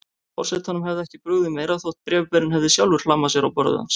Forsetanum hefði ekki brugðið meira þótt bréfberinn hefði sjálfur hlammað sér á borðið hans.